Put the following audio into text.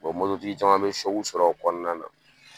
mototigi caman bɛ sɔrɔ o kɔnɔna na